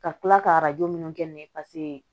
Ka tila ka arajo minnu kɛ ne ye paseke